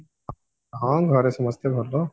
ହଁ ଘରେ ସମସ୍ତେ ଭଲ